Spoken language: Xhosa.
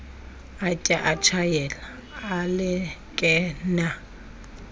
atya atshayela alekenea